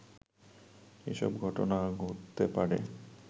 এসব ঘটনা ঘটতে পারে